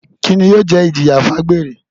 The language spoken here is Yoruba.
Kini yóò jẹ ijiya fun agbere?